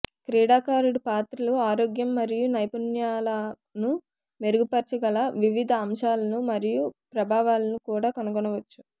క్రీడాకారుడు పాత్రలు ఆరోగ్యం మరియు నైపుణ్యాలను మెరుగుపర్చగల వివిధ అంశాలను మరియు ప్రభావాలను కూడా కనుగొనవచ్చు